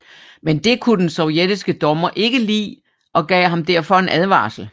Men det kunne den sovjetiske dommer ikke lide og gav ham derfor en advarsel